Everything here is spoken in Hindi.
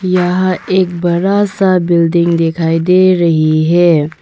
यह एक बड़ा सा बिल्डिंग दिखाई दे रही है।